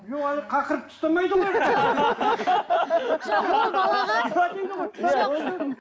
жоқ оны қақырып тастамайды